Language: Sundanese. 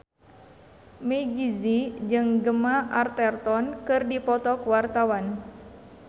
Meggie Z jeung Gemma Arterton keur dipoto ku wartawan